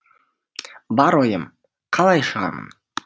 бар ойым қалай шығамын